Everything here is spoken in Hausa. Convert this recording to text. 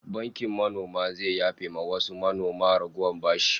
Bankin manoma zai yafe wa wasu manoma ragowar bashi